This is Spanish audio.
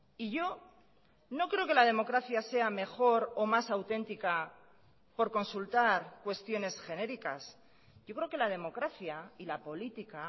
y yo no creo que la democracia sea mejor o más auténtica por consultar cuestiones genéricas yo creo que la democracia y la política